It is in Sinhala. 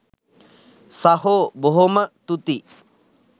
සහෝ බොහොම තුති